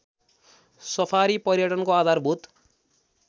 safari पर्यटनको आधारभूत